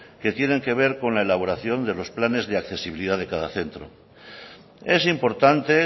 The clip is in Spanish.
que tienen que ver con la elaboración de los planes de accesibilidad de cada centro es importante